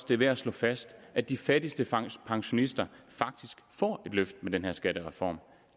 det er værd at slå fast at de fattigste pensionister faktisk får et løft med den her skattereform